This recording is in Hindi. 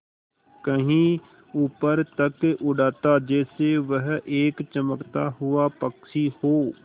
कहीं ऊपर तक उड़ाता जैसे वह एक चमकता हुआ पक्षी हो